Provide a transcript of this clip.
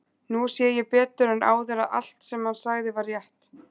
Nú sé ég betur en áður að allt, sem hann sagði, var rétt.